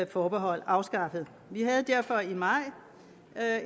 forbehold afskaffet vi havde derfor i maj